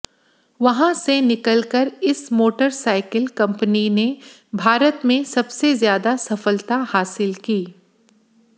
वहां से निकलकर इस मोटरसाइकिल कंपनी ने भारत में सबसे ज्यादा सफलत हासिल की